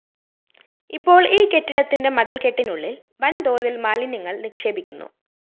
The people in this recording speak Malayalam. ഇപ്പോള്‍ ഈ കെട്ടിടത്തിന്റെ മതില്‍കെട്ടിനുള്ളില്‍ വന്‍തോതില്‍ മാലിന്യങ്ങള്‍ നിക്ഷേപിക്കുന്നു